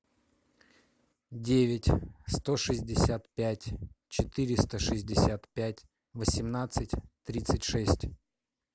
девять сто шестьдесят пять четыреста шестьдесят пять восемнадцать тридцать шесть